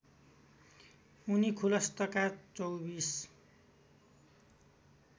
उनी खुलस्तका चौबीस